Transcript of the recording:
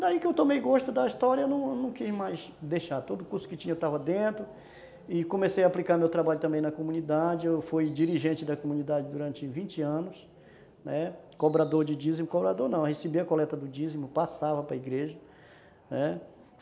Daí que eu tomei gosto da história, não não quis mais deixar, todo o curso que tinha eu estava dentro e comecei a aplicar meu trabalho também na comunidade, eu fui dirigente da comunidade durante vinte anos, né, cobrador de dízimo, cobrador não, eu recebia a coleta do dízimo, passava para a igreja, né.